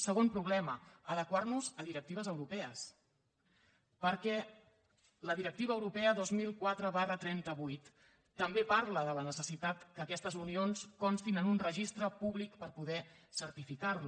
segon problema adequar nos a directives europees perquè la directiva europea dos mil quatre trenta vuit també parla de la necessitat que aquestes unions constin en un registre públic per poder certificar les